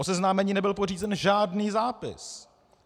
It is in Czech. O seznámení nebyl pořízen žádný zápis.